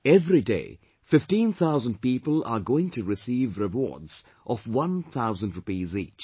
Everyday fifteen thousand people are going to receive rewards of one thousand rupees each